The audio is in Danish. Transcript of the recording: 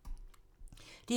DR2